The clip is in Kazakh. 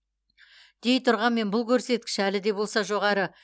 дей тұрғанмен бұл көрсеткіш әлі де болса жоғары